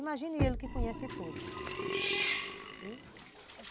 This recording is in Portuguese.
Imagine ele que conhece tudo.